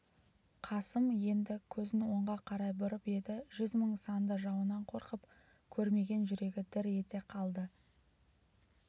қасым енді көзін оңға қарай бұрып еді жүз мың санды жауынан қорқып көрмеген жүрегі дір ете қалды